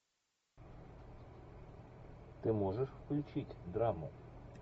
ты можешь включить драму